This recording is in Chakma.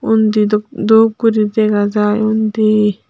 undi dup dup guri dega jai undi.